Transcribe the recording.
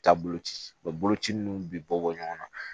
Taabolo ci u bɛ boloci ninnu bɛ bɔ ɲɔgɔn na